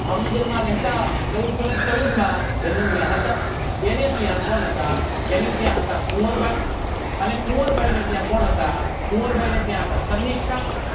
ભાવનગરમાં રહેતા ચવુડ સો ને ચવુડમાં જન્મ્યા હતા તેને ત્યાં કોણ હતા તેને ત્યાં હતા કુવરબાય અને કુવરબાયને ત્યાં કોણ હતું કુવરબાયત્યાં હતા